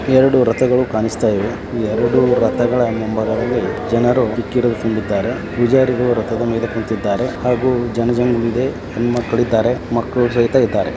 ಎರಡು ರಥಗಳು ಕಾಣಿಸುತ್ತಯಿದೆ ಎರಡು ರಥಗಳ ಮದ್ಯೆ ಜನರು ಕಿಕ್ಕಿರಿದು ತುಂಬಿದ್ದಾರೆ ರಥಗಳ ಮೇಲೆ ಪೂಜಾರಿಗಳು ಕುಂತಿದ್ದಾರೆ ಹಾಗು ಜನಗಳು. ಹೆಣ್ಣು ಮಕ್ಕಳಿದ್ದಾರೆ ಮಕ್ಕಳು ಸಹಿತ ಇದ್ದಾರೆ .